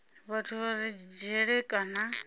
vhathu vha re dzhele kana